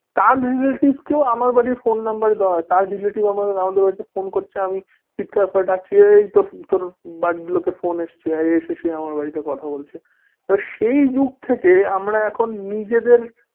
তার relative কো আমার বাড়ির ফোন number দেওয়া হয়। তার relative আমাদের বাড়িতে ফোন করছে। আমি চিৎকার করে ডাকছি, এই তোর তোর বাড়ির লোকের ফোন এসেছে সে এসে আমার বাড়িতে কথা বলছে, সেই যুগ থেকে আমার এখন নিজেদের